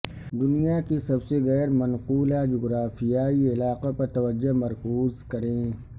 دنیا کی سب سے غیر منقولہ جغرافیایی علاقہ پر توجہ مرکوز کریں